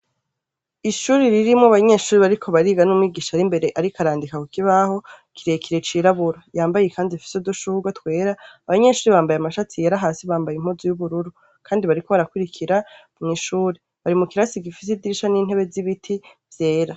Ishuri ririmwo banyeshuri bariko bariga n'umwigisha arimbere ariko arandika kukibaho kirekire cirabura yambaye kandi ifise dushurwe twera abanyeshuri bambaye amashati yera hasi bambaye impuzu y'ubururu, kandi bariko barako barakurikira mw'ishuri bari mu karasi gifise idirisha n'intebe z'ibiti vyera.